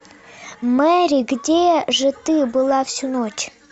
мэри где же ты была всю ночь